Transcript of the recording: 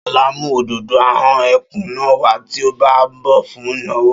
Ṣọlá mùú òdòdó ahón ẹkùn náà wá tí o bá nbọ fún ìnáwó